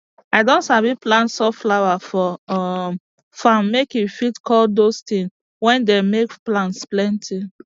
i don sabi plant sunflower for um farm make e fit call dose tin wey dem make plants plenty